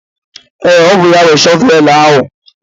Ee, ọ bụ ya nwe shọvelu ahụ.